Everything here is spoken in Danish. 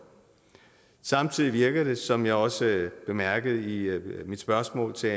samtidig virker det som jeg også bemærkede i mit spørgsmål til